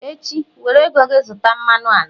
echi, were ego gi zụta mmanụ ala!